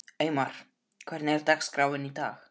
Eymar, hvernig er dagskráin í dag?